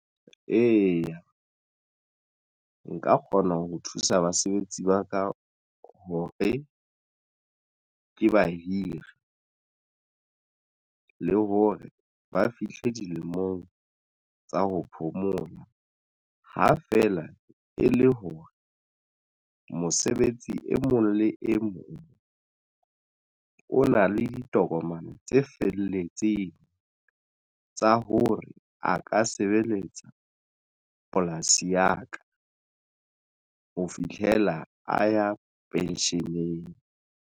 Eya, nka kgona ho thusa basebetsi ba ka hore ke bahiri le hore ba fihle dilemong tsa ho phomola ha feela e le hore mosebetsi e mong le e mong o na le ditokomane tse felletseng tsa hore a ka sebeletsa polasi ya ka ho fihlela a ya pension-eng.